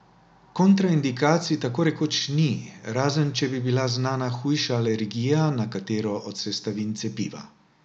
Kontraindikacij tako rekoč ni, razen če bi bila znana hujša alergija na katero od sestavin cepiva.